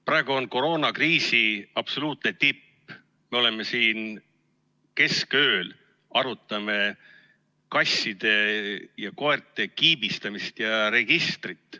Praegu on koroonakriisi absoluutne tipp, aga meie arutame siin keskööl kasside ja koerte kiibistamist ja registrit.